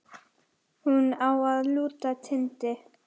Hún á að lúta Tindi.